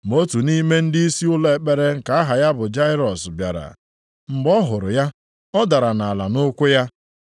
Ma otu nʼime ndịisi ụlọ ekpere nke aha ya bụ Jairọs bịara, mgbe ọ hụrụ ya, ọ dara nʼala nʼụkwụ ya,